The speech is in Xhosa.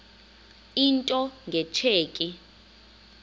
into nge tsheki